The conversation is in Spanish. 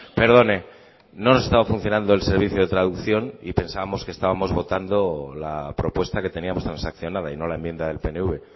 perdone no esta funcionando el servicio de traducción y pensábamos que estábamos votamos la propuesta que teníamos transaccionada y no la enmienda del pnv